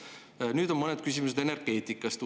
Nüüd on uuesti mõned küsimused energeetikast.